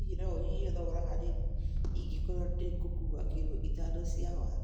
Hihi no ũnyihie thogora hanini ĩngĩkorũo ni ngũkũũa kilo ithano cia waru